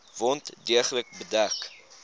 wond deeglik bedek